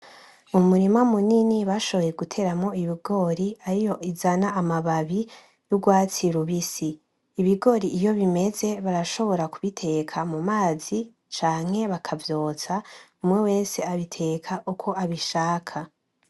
umurima munini bashoboye guteramwo ibigori ariyo izana amababi yurwatsi rubisi ibigori iyo bimeze barashobora kubiteka mumazi canke bakavyotsa umwe wese abiteka uko abishaka